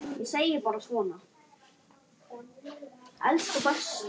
Kvöl í rómnum.